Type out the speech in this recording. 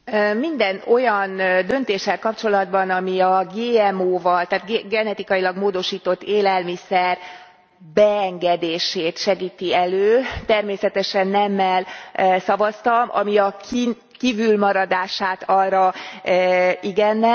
Minden olyan döntéssel kapcsolatban, ami a GMO val, a genetikailag módosított élelmiszer beengedését segíti elő, természetesen nemmel szavaztam, ami a kívülmaradását arra igennel.